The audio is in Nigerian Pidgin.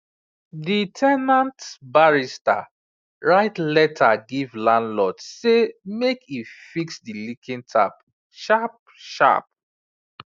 the ten ant barista write letter give landlord say make e fix the leaking tap sharp sharp